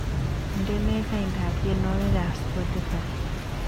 Indene laindab tyenwogikab Spotify